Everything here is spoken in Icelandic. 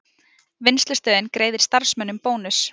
Vinnslustöðin greiðir starfsmönnum bónus